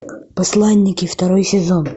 посланники второй сезон